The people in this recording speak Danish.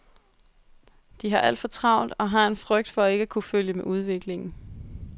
De har alt for travlt og har en frygt for ikke at kunne følge med udviklingen.